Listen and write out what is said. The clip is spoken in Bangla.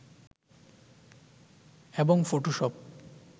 এবং ফটোশপ